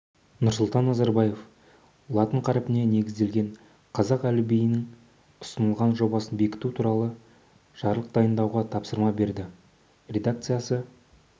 нұрсұлтан назарбаев латын қарпіне негізделген қазақ әліпбиінің ұсынылған жобасын бекіту туралы жарлық дайындауға тапсырма берді редакциясы